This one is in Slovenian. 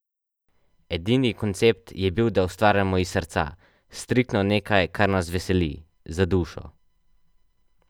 Edini koncept je bil, da ustvarjamo iz srca, striktno nekaj, kar nas veseli, za dušo.